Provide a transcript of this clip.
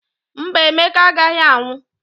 Mba, Emeka agaghị anwụ.